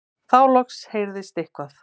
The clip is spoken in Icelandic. Þá loksins heyrðist eitthvað.